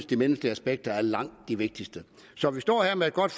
de menneskelige aspekter er langt de vigtigste så vi står her med et godt